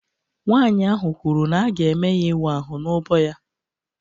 Nwanyị ahụ kwuru na a ga-eme ya ịwa ahụ n'úbọ ya